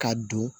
Ka don